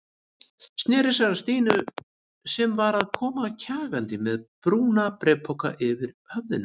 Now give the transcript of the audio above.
Sneri sér að Stínu sem var að koma kjagandi með brúna bréfpokann yfir höfðinu.